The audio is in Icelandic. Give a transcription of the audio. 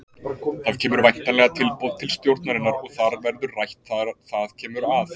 Það kemur væntanlega tilboð til stjórnarinnar og það verður rætt þegar þar að kemur.